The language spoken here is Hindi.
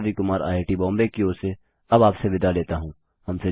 मैं रवि कुमार आईआईटीबॉम्बे की ओर से अब आपसे विदा लेता हूँ